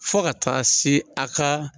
Fo ka taa se a ka